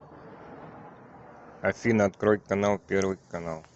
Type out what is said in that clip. афина открой канал первый канал